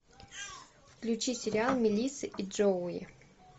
включи сериал мелисса и джоуи